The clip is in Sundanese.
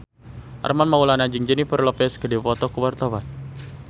Armand Maulana jeung Jennifer Lopez keur dipoto ku wartawan